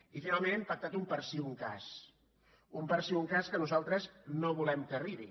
i finalment hem pactat un per si un cas un per si un cas que nosaltres no volem que arribi